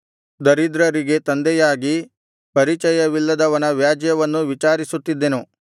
ದರಿದ್ರರಿಗೆ ತಂದೆಯಾಗಿ ಪರಿಚಯವಿಲ್ಲದವನ ವ್ಯಾಜ್ಯವನ್ನೂ ವಿಚಾರಿಸುತ್ತಿದ್ದೆನು